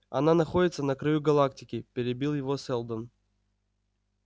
она находится на краю галактики перебил его сэлдон